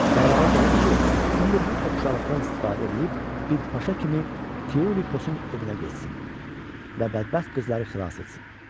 Qərara gəlir ki, indi bu oxşarlıqdan istifadə eləyib bir paşa kimi Tiulikosun evinə getsin və bədbəxt qızları xilas etsin.